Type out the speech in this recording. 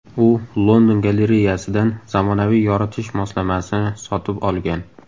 U London galereyasidan zamonaviy yoritish moslamasini sotib olgan.